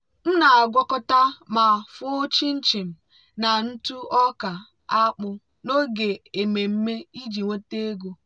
m na-agwakọta ma fụọ chin-chin na ntụ ọka akpu n'oge ememme iji nweta ego.